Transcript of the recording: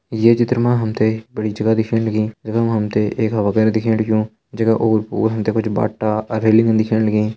ये चित्र मा हमथे बड़ी जगह दिखेण लगी जखम हमते एक दिखेण लग्यूं जैका ओर पोर हमथे कुछ बाट्टा अर रेलिंग हु दिखेण लगीं।